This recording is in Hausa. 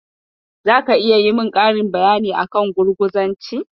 Can you highlight more information about communism.